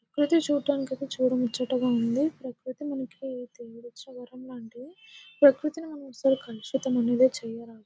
ప్రకృతి చూడ్డానికి అయితే చూడముచ్చటగా ఉంది. ప్రకృతి మనకి దేవుడిచ్చిన వరం లాంటిది. ప్రకృతిని అసలు మనం కలుషితం అనేదే చేయరాదు.